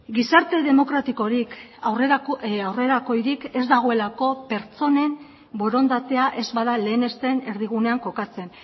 gizarte demokratikorik aurrerakoirik ez dagoelako pertsonen borondatea ez bada lehenesten erdigunean kokatzen